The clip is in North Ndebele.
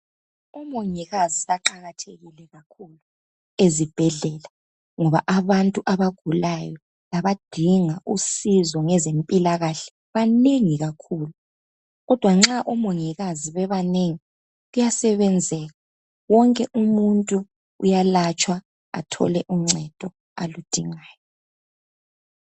Omongikazi baqakathekile kakhulu ezibhendlela ngoba abantu abagulayo labadinga usizo ngezempilakahle banengi kakhulu kodwa nxa omongikazi bebanengi kuyasebenzeka wonke umuntu uyalatshwa athole uncedo aludingayo